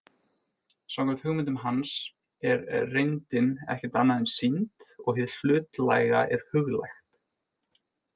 Samkvæmt hugmyndum hans er reyndin ekkert annað en sýnd og hið hlutlæga er huglægt.